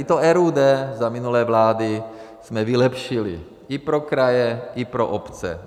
I to RUD za minulé vlády jsme vylepšili, i pro kraje, i pro obce.